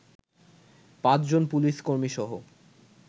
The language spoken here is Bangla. পাঁচজন পুলিশ কর্মীসহ